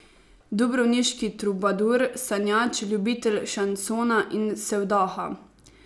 Dubrovniški trubadur, sanjač, ljubitelj šansona in sevdaha.